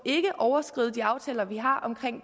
overskride de aftaler vi har om